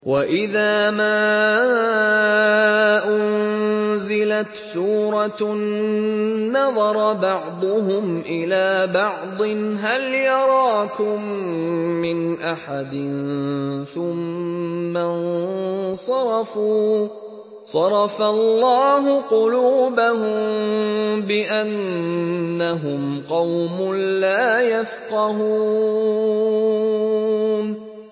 وَإِذَا مَا أُنزِلَتْ سُورَةٌ نَّظَرَ بَعْضُهُمْ إِلَىٰ بَعْضٍ هَلْ يَرَاكُم مِّنْ أَحَدٍ ثُمَّ انصَرَفُوا ۚ صَرَفَ اللَّهُ قُلُوبَهُم بِأَنَّهُمْ قَوْمٌ لَّا يَفْقَهُونَ